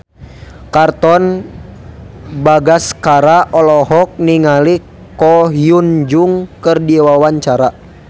Katon Bagaskara olohok ningali Ko Hyun Jung keur diwawancara